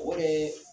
O de ye